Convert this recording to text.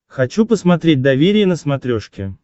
хочу посмотреть доверие на смотрешке